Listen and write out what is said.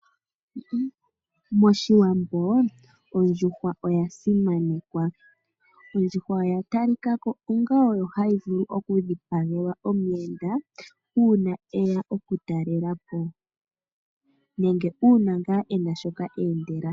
MOshiwambo ondjuhwa oya simanekwa ondjuhwa oya talika ko onga oyo hayi vulu okudhipagelwa omuyenda uuna e ya okutalela po nenge uuna e na ngaa shoka eendela.